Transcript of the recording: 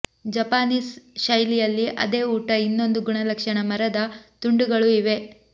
Japanese ಶೈಲಿಯಲ್ಲಿ ಅದೇ ಊಟ ಇನ್ನೊಂದು ಗುಣಲಕ್ಷಣ ಮರದ ತುಂಡುಗಳು ಇವೆ